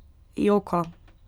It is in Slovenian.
Joka.